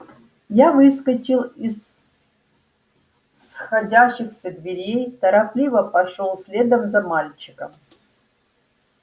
я выскочил из сходящихся дверей торопливо пошёл следом за мальчиком